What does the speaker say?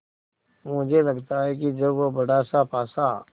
मुझे लगता है कि जब वह बड़ासा पासा